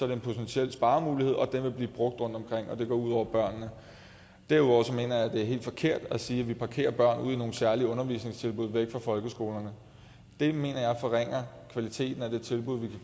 det en potentiel sparemulighed og den vil blive brugt rundtomkring og det går ud over børnene derudover mener jeg at det er helt forkert at sige at vi parkerer børn ude i nogle særlige undervisningstilbud væk fra folkeskolerne det mener jeg forringer kvaliteten af det tilbud